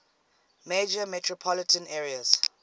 major metropolitan areas